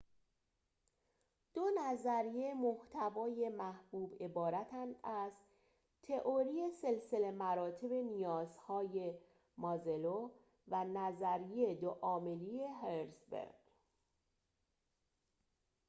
دو نظریه محتوای محبوب عبارتند از تئوری سلسله مراتب نیازهای مازلو و نظریه دو عاملی هرزبرگ